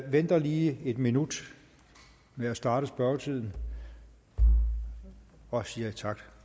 venter lige en minut med at starte spørgetiden og siger tak